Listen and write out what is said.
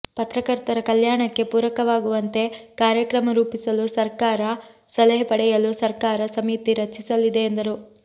ಪತ್ರಕರ್ತರ ಕಲ್ಯಾಣಕ್ಕೆ ಪೂರಕವಾಗುವಂತೆ ಕಾರ್ಯಕ್ರಮ ರೂಪಿಸಲು ಸರಕಾರ ಸಲಹೆ ಪಡೆಯಲು ಸರ್ಕಾರ ಸಮಿತಿ ರಚಿಸಲಿದೆ ಎಂದರು